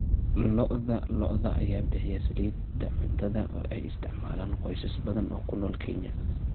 Lo'da lo'da ayaa bixiya saliidda cuntada oo ay isticmaalaan qoysas badan oo ku nool Kenya.